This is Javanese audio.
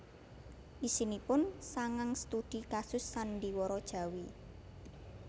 Isinipun sangang studi kasus sandhiwara Jawi